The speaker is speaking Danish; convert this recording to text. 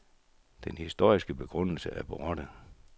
Den historiske begrundelse er borte.